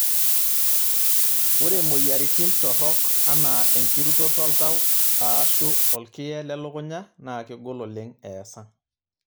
Ore moyiaritn torok anaa enkirutoto oltau aashu olkiye lelukunya naa kegol oleng' eesa.